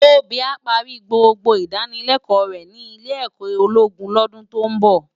Tobi á pàri gbógbó idánilèkò rè ni ilé èkò ólógún lòdún tó n bò